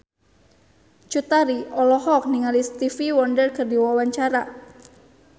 Cut Tari olohok ningali Stevie Wonder keur diwawancara